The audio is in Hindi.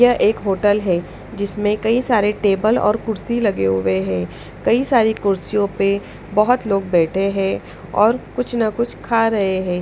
यह एक होटल है जिसमें कई सारे टेबल और कुर्सी लगे हुए हैं कई सारी कुर्सियों पर बहुत लोग बैठे हैं और कुछ ना कुछ खा रहे हैं।